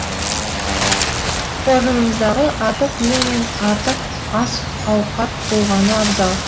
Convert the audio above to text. қоржыныңыздағы артық киім мен артық ас ауқат болғаны абзал